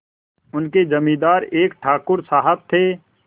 उनके जमींदार एक ठाकुर साहब थे